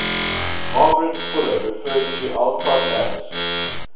margaret fuller referred to alcott as